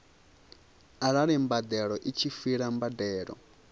arali mbadeloi tshi fhira mbadelo